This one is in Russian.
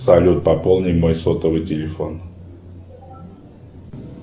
салют пополни мой сотовый телефон